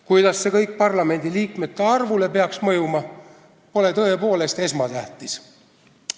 Kuidas see kõik parlamendiliikmete arvule peaks mõjuma, pole tõepoolest esmatähtis.